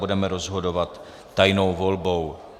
Budeme rozhodovat tajnou volbou.